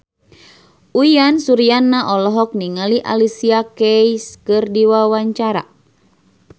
Uyan Suryana olohok ningali Alicia Keys keur diwawancara